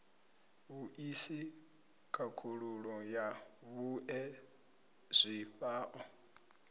vhuisi khakhululo ya vhue zwifhao